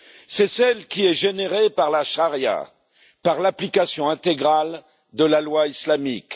C'est celle qui est générée par la charia, par l'application intégrale de la loi islamique.